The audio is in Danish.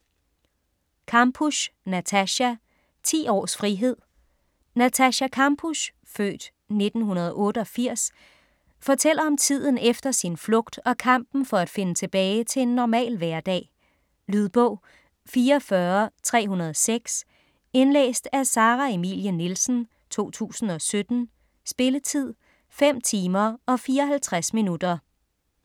Kampusch, Natascha: Ti års frihed Natascha Kampusch (f. 1988) fortæller om tiden efter sin flugt og kampen for at finde tilbage til en normal hverdag. Lydbog 44306 Indlæst af Sara Emilie Nielsen, 2017. Spilletid: 5 timer, 54 minutter.